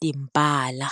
timbala.